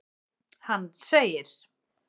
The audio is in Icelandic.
Hann segir:.